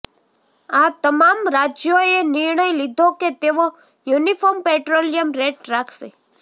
આ તમામ રાજ્યોએ નિર્ણય લીધો કે તેઓ યૂનિફોર્મ પેટ્રોલિયમ રેટ રાખશે